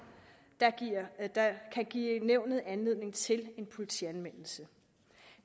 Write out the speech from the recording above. der kan give nævnet anledning til en politianmeldelse